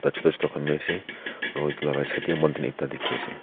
Chutu chutu khan bhi ase aro etu la right side dae mountain ekta dekhey ase.